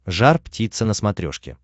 жар птица на смотрешке